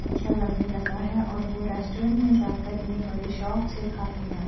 अच्‍छा लगने लगा है और वो रेस्‍टोंरेंट में जाकर इन्‍हें बड़े शौक से खााते हैं।